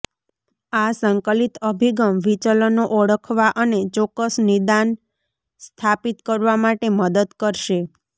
આ સંકલિત અભિગમ વિચલનો ઓળખવા અને ચોક્કસ નિદાન સ્થાપિત કરવા માટે મદદ કરશે